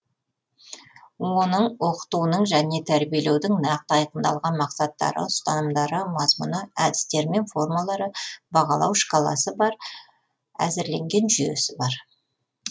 оның оқытуының және тәрбиелеудің нақты айқындалған мақсаттары ұстанымдары мазмұны әдістері және формалары бағалау шкаласы бар әзірленген жүйесі бар